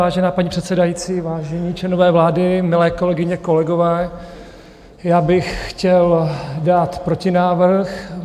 Vážená paní předsedající, vážení členové vlády, milé kolegyně, kolegové, já bych chtěl dát protinávrh.